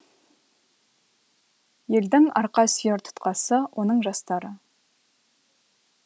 елдің арқа сүйер тұтқасы оның жастары